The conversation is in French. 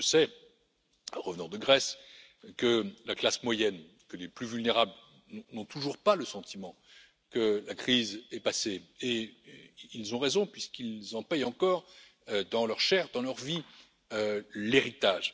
Je sais, en revenant de Grèce, que la classe moyenne et les plus vulnérables n'ont toujours pas le sentiment que la crise est passée et ils ont raison puisqu'ils en paient encore dans leur chair et dans leur vie l'héritage.